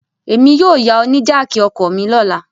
Emi yóò ya ọ ni jáákí ọkọ mi lọla